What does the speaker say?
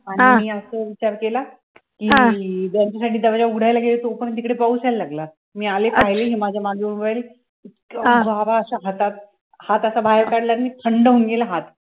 आणि मी असा विचार केला , कि जो पर्यंत मी दरवाजा उघडायला गेले तो पर्यंत तिकडे पाऊस यायला लागला, मी आले पाहिली आणि माझ्या मांडी वर उभी राहिली , गारा अशा हातात हात असा बाहेर काडला आणि थंड होऊन गेला हात